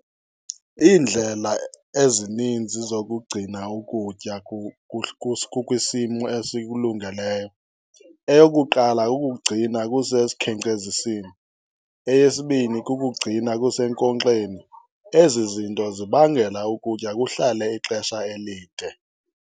Iindlela ezininzi zokugcina ukutya kukwisimo esikulungeleyo, eyokuqala kukuwugcina kusesikhenkcezisini. Eyesibini kukuwugcina kusenkonxeni. Ezi zinto zibangela ukutya kuhlale ixesha elide.